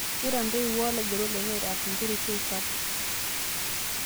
Kegirai ntoiwuo o laigerok lenye aitaas nkera esiai sapuk